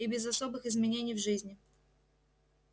и без особых изменений в жизни